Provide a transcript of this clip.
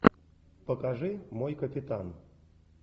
покажи мой капитан